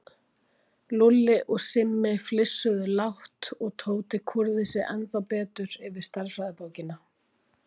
Lúlli og Simmi flissuðu lágt og Tóti kúrði sig ennþá betur yfir stærðfræðibókina.